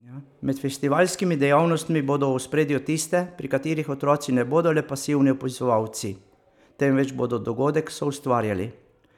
Med festivalskimi dejavnostmi bodo v ospredju tiste, pri katerih otroci ne bodo le pasivni opazovalci, temveč bodo dogodek soustvarjali.